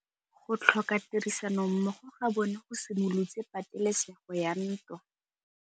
Go tlhoka tirsanommogo ga bone go simolotse patêlêsêgô ya ntwa.